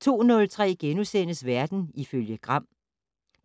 02:03: Verden ifølge Gram